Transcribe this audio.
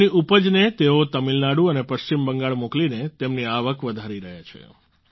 તેમની ઉપજને તેઓ તમિલનાડુ અને પશ્ચિમ બંગાળ મોકલીને તેમની આવક વધારી રહ્યા છે